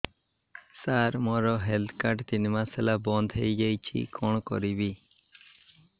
ସାର ମୋର health card ତିନି ମାସ ହେଲା ବନ୍ଦ ହେଇଯାଇଛି କଣ କରିବି